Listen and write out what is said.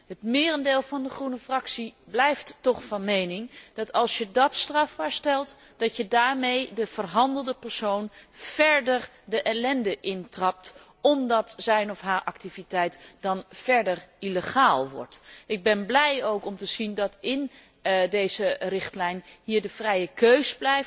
Het merendeel van de Groene Fractie blijft toch van mening dat, als je dat strafbaar stelt, je daarmee de verhandelde persoon verder de ellende in trapt, omdat zijn of haar activiteit dan helemaal illegaal wordt. Ik ben ook blij om te zien dat in deze richtlijn de lidstaten de vrije keus